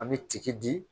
An bɛ ci di